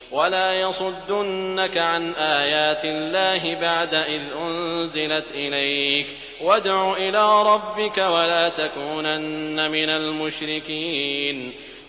وَلَا يَصُدُّنَّكَ عَنْ آيَاتِ اللَّهِ بَعْدَ إِذْ أُنزِلَتْ إِلَيْكَ ۖ وَادْعُ إِلَىٰ رَبِّكَ ۖ وَلَا تَكُونَنَّ مِنَ الْمُشْرِكِينَ